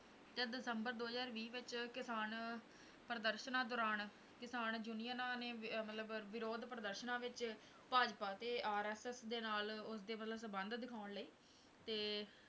ਤੇ ਦਸੰਬਰ ਦੋ ਹਜ਼ਾਰ ਵੀਹ ਵਿੱਚ ਕਿਸਾਨ ਪ੍ਰਦਰਸਨਾਂ ਦੌਰਾਨ ਕਿਸਾਨ ਯੂਨੀਅਨਾਂ ਨੇ ਵ~ ਮਤਲਬ ਵਿਰੋਧ ਪ੍ਰਦਰਸਨਾਂ ਵਿੱਚ ਭਾਜਪਾ ਤੇ RSS ਦੇ ਨਾਲ ਉਸਦੇ ਮਤਲਬ ਸੰਬੰਧ ਦਿਖਾਉਣ ਲਈ ਤੇ